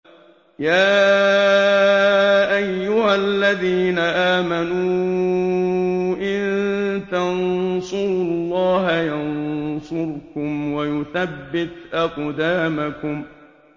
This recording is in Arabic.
يَا أَيُّهَا الَّذِينَ آمَنُوا إِن تَنصُرُوا اللَّهَ يَنصُرْكُمْ وَيُثَبِّتْ أَقْدَامَكُمْ